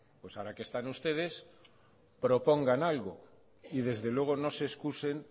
ahora que están ustedes propongan algo y desde luego no se excusen